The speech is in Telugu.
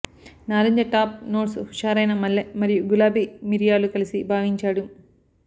నారింజ టాప్ నోట్స్ హుషారైన మల్లె మరియు గులాబీ మిరియాలు కలిసి భావించాడు